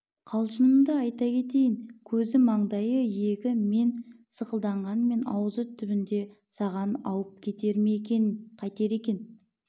қалжыңымды айта кетейін көзі маңдайы иегі мен сықылданғанмен аузы түбінде саған ауып кетер ме екен қайтер екен